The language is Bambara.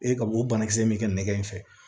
E ka o banakisɛ in bɛ kɛ nɛgɛ in fɛ